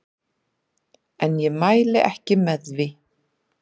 En ég mæli ekki með því.